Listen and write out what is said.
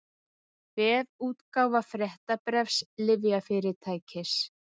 Vefútgáfa fréttabréfs lyfjafyrirtækis